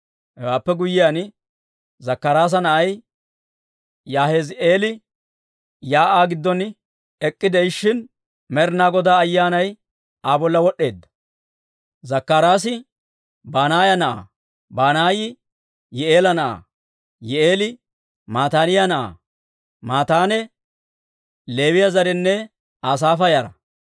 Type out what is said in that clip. Hewaappe guyyiyaan, Zakkaraasa na'ay Yahaazi'eeli shiik'uwaa giddon ek'k'ide'ishshin, Med'inaa Godaa Ayyaanay Aa bolla wod'd'eedda. Zakkaraasi Banaaya na'aa; Banaayi Yi'i'eela na'aa; Yi'i'eeli Mataaniyaa na'aa; Mataanee Leewiyaa zarenne Asaafa yara.